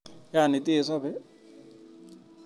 Yani teisobe?